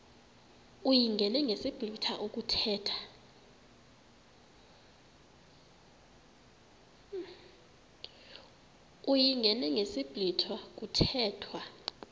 uyingene ngesiblwitha kuthethwa